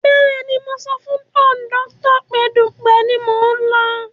Bẹ́ẹ̀ni mo sọ fún kọ̀ndọ́tọ̀ pé Dugbe ni mò ń lọ